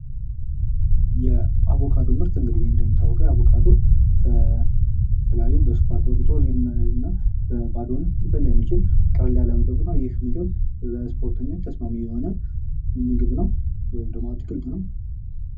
የአቦካዶ ምርት የአቮካዶ ምርት እንግዲህ እንደሚታወቀው በስኳር ተበጥቶ እንዲሁም በባዶ ሊበላ የሚችል በቀለል ያለ ምግብ ነው ይህ ምግብ ለስፖርተኞች ተስማሚ የሆነ ምግብ ነው ወይ አትክልት ነው።